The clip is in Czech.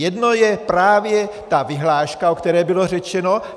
Jedno je právě ta vyhláška, o které bylo řečeno.